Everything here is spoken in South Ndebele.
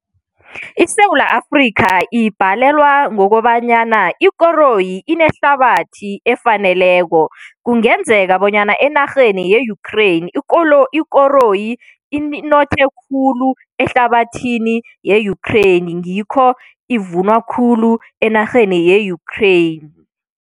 ISewula Afrika ibhalelwa ngokobanyana ikoroyi inehlabathi efaneleko, kungenzeka bonyana enarheni ye-Ukraine ikoroyi inothe khulu ehlabathini ye-Ukraine, ngikho ivunwa khulu enarheni ye-Ukraine.